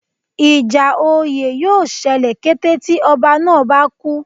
Ìjà oyè yóò ṣẹlẹ̀ kété tí ọba náà bá kú